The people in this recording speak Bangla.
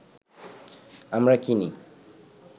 আমরা কিনি